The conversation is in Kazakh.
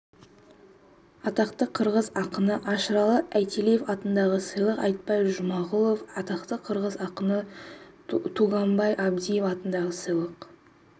атақты қырғыз ақыны ашыраалы айталиев атындағы сыйлық айтпай жұмағұлов атақты қырғыз ақыны тууганбай абдиева атындағы сыйлық